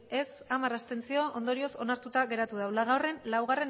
abstentzioak hamar ondorioz onartuta geratu da laugarrena